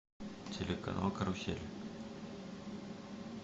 телеканал карусель